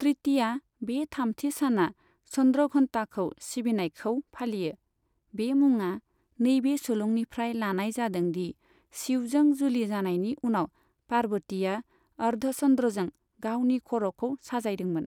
तृतीया, बे थामथि सानआ, चन्द्रघण्टाखौ सिबिनायखौ फालियो, बे मुङा नैबे सुलुंनिफ्राय लानाय जादों दि शिवजों जुलि जानायनि उनाव, पार्वतीआ अर्धचन्द्रजों गावनि खर'खौ साजायदोंमोन।